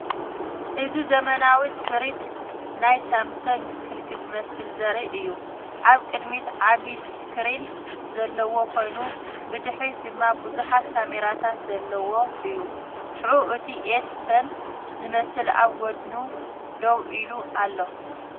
እዚ ዘመናዊ ስሪት ናይ ሳምሰንግ ስልኪ ዝመስል ዘርኢ እዩ። ኣብ ቅድሚት ዓቢ ስክሪን ዘለዎ ኮይኑ፡ ብድሕሪት ድማ ብዙሓት ካሜራታት ዘለዎ እዩ። ሽዑ፡ እቲ ኤስ-ፐን ዝመስል ኣብ ጎድኑ ደው ኢሉ ኣሎ።